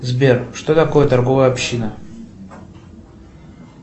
сбер что такое торговая община